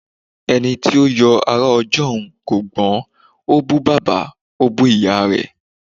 Eni ti yóò ará ọjọ́un kò gbọ́n, ó bú bàbá, ó bú ìyá rẹ̀.